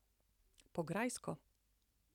Po grajsko ...